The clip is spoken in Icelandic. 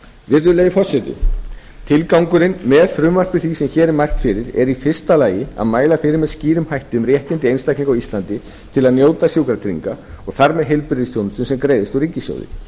virðulegi forseti tilgangurinn með frumvarpi því sem hér er mælt fyrir er í fyrsta lagi að mæla fyrir með skýrum hætti um réttindi einstaklinga á íslandi til að njóta sjúkratrygginga og þar með til heilbrigðisþjónustu sem greiðist úr ríkissjóði